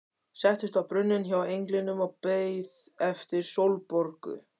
Settist á brunninn hjá englinum og beið eftir Sólborgu.